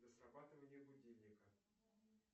для срабатывания будильника